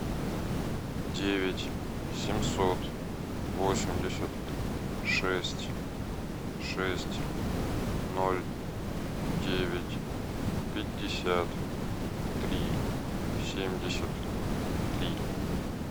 девять семьсот восемьдесят шесть шесть ноль девять пятьдесят три семьдесят три